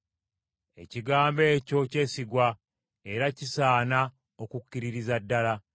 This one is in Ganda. Ekigambo ekyo kyesigwa era kisaana okukkiririza ddala.